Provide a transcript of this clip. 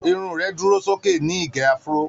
Irun rẹ̀ dúró sókè ní ìgé Afro.